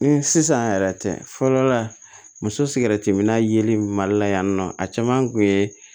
Sisan yɛrɛ tɛ fɔlɔ muso siran tɛmɛna yeli in mali la yan nɔ a caman kun ye